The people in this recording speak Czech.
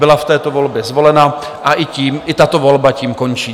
Byla v této volbě zvolena a i tato volba tím končí.